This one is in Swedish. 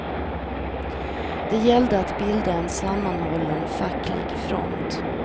Det gällde att bilda en sammanhållen facklig front.